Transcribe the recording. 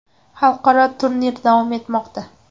Xalqaro turnir davom etmoqda.